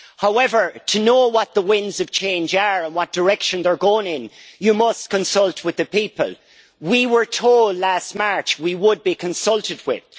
However, to know what the winds of change are and what direction they are going in, you must consult with the people. We were told last March that we would be consulted with.